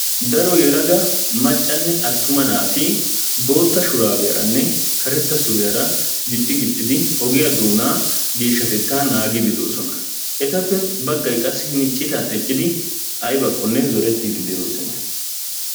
Daro yelaga maccanne attuma naati bootta shuraabiyaranne karetta suriyaara gixxi gixxidi ogiyaa doonaa geeshshatettaa naagiiddi de'oosona. Etappe baggay qassi hini citan eqqidi aybakkonne zorettiiddi de'oosona.